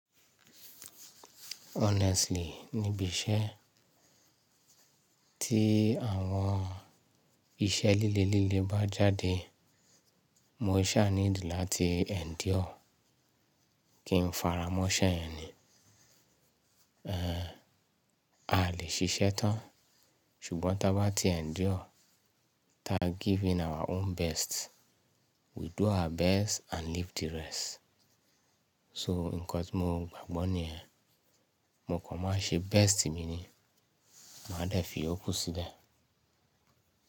Honestly, níbi iṣẹ́ tí àwọn iṣẹ́ líle líle bá jáde, mo sáà need láti endure, kí n fara mọ́ iṣẹ́ yẹn ni. A lè ṣiṣẹ́ tán, ṣùgbọ́n táa bá ti endure, tá give in our own best. We do our best and leave the rest. So nǹkan tí mo gbàgbọ́ ní yẹn, mo kàn máa ń ṣe best mi ni, màá dẹ̀ fi ìyókù sílẹ̀.